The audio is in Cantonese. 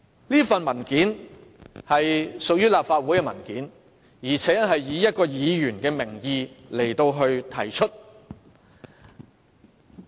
有關的文件屬於立法會文件，以一位議員的名義提出。